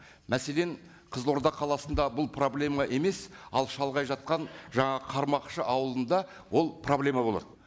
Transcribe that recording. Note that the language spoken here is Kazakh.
мәселен қызылорда қаласында бұл проблема емес ал шалғай жатқан жаңағы қармақшы ауылында ол проблема болады